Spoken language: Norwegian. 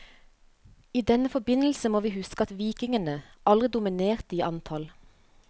I denne forbindelse må vi huske at vikingene aldri dominerte i antall.